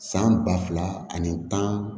San ba fila ani tan